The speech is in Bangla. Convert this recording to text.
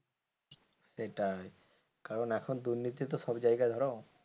সেটাই কারণ এখন দুর্নীতি তো সব জায়গায় ধরো,